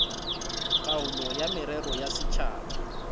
taolo ya merero ya setšhaba